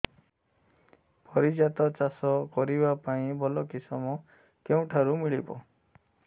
ପାରିଜାତ ଚାଷ କରିବା ପାଇଁ ଭଲ କିଶମ କେଉଁଠାରୁ ମିଳିବ